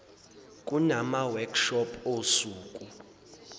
kunama workshop osuku